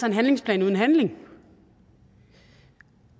en handlingsplan uden handling